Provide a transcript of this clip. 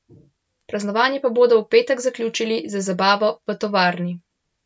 Praznovanje pa bodo v petek zaključili z zabavo v tovarni.